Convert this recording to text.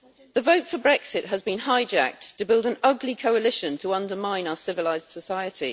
The vote for Brexit has been hijacked to build an ugly coalition to undermine our civilised society.